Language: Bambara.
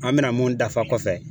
An bɛna mun dafa kɔfɛ